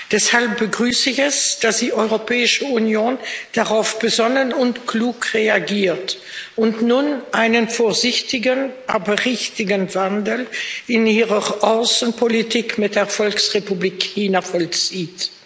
Deshalb begrüße ich es, dass die Europäische Union darauf besonnen und klug reagiert und nun einen vorsichtigen, aber richtigen Wandel in ihrer Außenpolitik mit der Volksrepublik China vollzieht.